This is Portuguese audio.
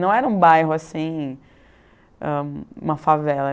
Não era um bairro assim, ãh uma favela.